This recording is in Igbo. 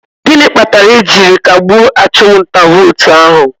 Gịnị kpatara e jiri kagbue achụm nta vootu ahụ?